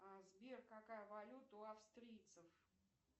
сбер какая валюта у австрийцев